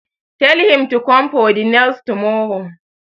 Tell him to come for the nails tomorrow!